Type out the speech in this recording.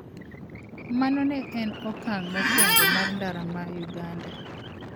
Mano ne en okang' mokwongo mar ndara ma Uganda.